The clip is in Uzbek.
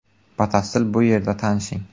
Batafsil bu yerda tanishing .